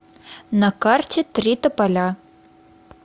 на карте три тополя